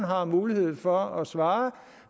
har mulighed for at svare